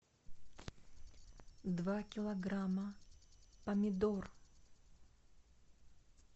два килограмма помидор